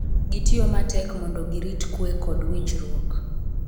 Gitiyo matek mondo girit kuwe kod winjruok